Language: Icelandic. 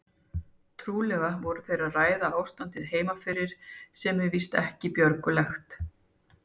Trúlega voru þeir að ræða ástandið heima fyrir sem var víst ekki björgulegt.